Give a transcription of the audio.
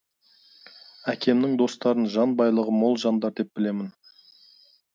әкемнің достарын жан байлығы мол жандар деп білемін